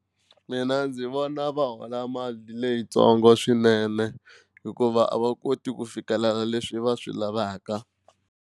Mina ndzi vona va hola mali leyintsongo swinene hikuva a va koti ku fikelela leswi va swi lavaka.